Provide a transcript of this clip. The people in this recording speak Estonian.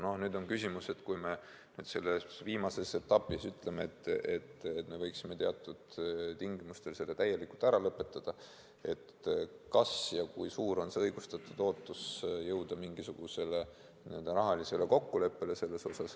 No nüüd on küsimus, et kui me selles viimases etapis ütleme, et me võiksime teatud tingimustel selle täielikult ära lõpetada, siis kui suur on õigustatud ootus jõuda mingisugusele rahalisele kokkuleppele.